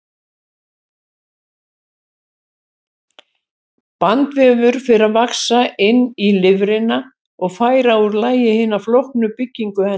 Bandvefur fer að vaxa inn í lifrina og færa úr lagi hina flóknu byggingu hennar.